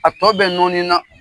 A tɔ bɛɛ nɔɔni na.